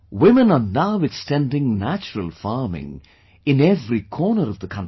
Women are now extending natural farming in every corner of the country